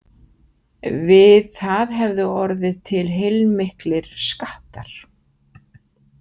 Við það hefðu orðið til heilmiklir skattar.